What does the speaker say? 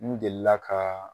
N delila ka